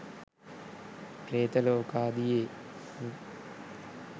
ප්‍රේත ලෝකාදියෙහි